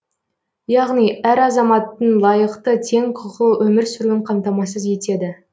яғни әр азаматтың лайықты тең құқылы өмір сүруін қамтамасыз етеді